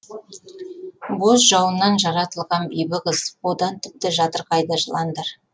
боз жауыннан жаратылған бибі қыз одан тіпті жатырқайды жыландар